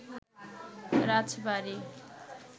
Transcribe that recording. রাজবাড়ী